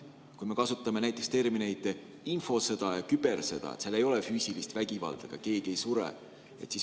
Kui me kasutame näiteks termineid "infosõda" ja "kübersõda", siis seal ei ole füüsilist vägivalda, keegi ei sure.